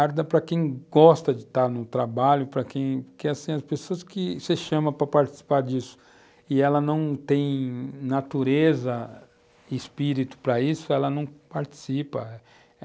Arda para quem gosta de estar no trabalho, para quem... Porque, assim, as pessoas que você chama para participar disso e elas não têm natureza, espírito para isso, elas não participam.